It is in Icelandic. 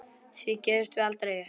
Því gefumst við aldrei upp.